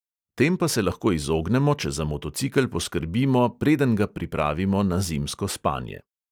Tem pa se lahko izognemo, če za motocikel poskrbimo, preden ga pripravimo na zimsko spanje.